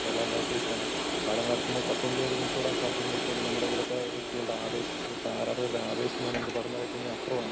കേരളാ ബ്ലാസ്റ്റേഴ്‌സിനാണ്. കാലങ്ങളായിട്ട് കപ്പിൽ ഒരു മുത്തം ഇടാൻ സാധിച്ചില്ലെങ്കിലും നമ്മടെ ഇവിടത്തെ വ്യക്തികളുടെ ആവേശം ഇവിടത്തെ ആരാധകരുടെ ആവേശം ന്ന് പറഞ്ഞാ നമുക്ക് പറഞ്ഞ് അറിയിക്കുന്നതിലും അപ്പുറമാണ്.